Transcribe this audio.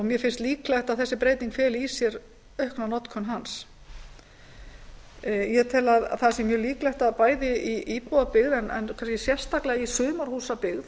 mér finnst líklegt að þessi breyting feli í sér aukna notkun hans ég tel að það sé mjög líklegt að bæði í íbúðabyggð en kannski sérstaklega í sumarhúsabyggð